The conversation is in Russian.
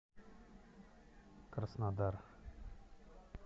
краснодар